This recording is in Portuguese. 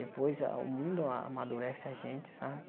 Depois o mundo amadurece a gente, sabe?